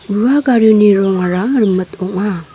ua garioni rongara rimit ong·a.